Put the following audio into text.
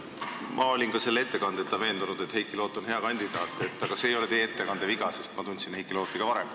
Ma olin ka selle ettekandeta veendunud, et Heiki Loot on hea kandidaat, aga see ei ole teie ettekande viga, sest ma tundsin Heiki Looti ka varem.